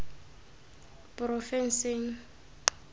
porofensing